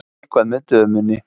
Eitthvað með dömunni.